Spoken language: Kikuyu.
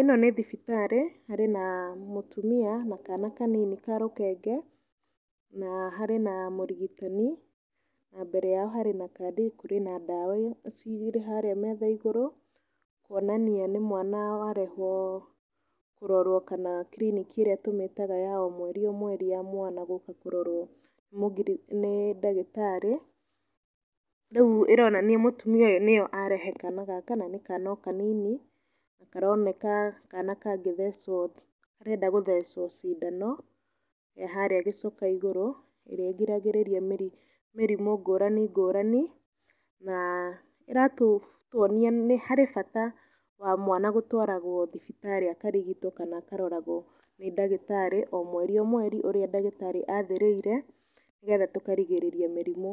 Ĩno nĩ thibitarĩ. Harĩ na mũtũmia na kana kanini ka rũkenge, na harĩ na mũrigitani. Na mbere yao harĩ na kadi. Kũrĩ na ndaawa cirĩ harĩa meetha ĩgũrũ, kuonania nĩ mwana warehwo kũrorũo kana kiriniki ĩrĩa tũmĩtaga ya o mweri o mweri ya mwana gũka kũrorwo nĩ ndagĩtaarĩ. Rĩu ĩronania mũtũmia ũyũ nĩyo arehe kana gaka na nĩ kana o kanini. Karoneka kana kangĩthecwo, karenda gũthecwo cindano harĩa gĩcoka ĩgũrũ. Ĩrĩa egiragĩrĩria mĩrĩmu ngũrani ngũrani. Na ĩratuonia nĩ harĩ bata wa mwana gũtwaragwo thibitarĩ akarigitwo kana akaroragwo nĩ ndagitaarĩ o mweri o mweri ũrĩa ndagĩtaarĩ athirĩire nĩ getha tũkarigĩrĩria mĩrimũ